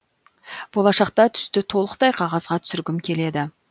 болашақта түсті толықтай қағазға түсіргім келеді